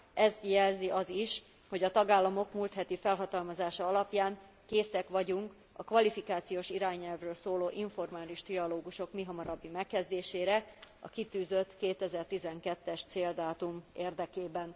Ezt jelzi az is, hogy a tagállamok múlt heti felhatalmazása alapján készek vagyunk a kvalifikációs irányelvről szóló informális trialógusok mihamarabbi megkezdésére, a kitűzött 2012 es céldátum érdekében.